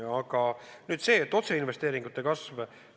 Aga nüüd see otseinvesteeringute kasv.